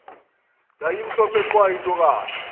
yayimhlophe qwa intokazi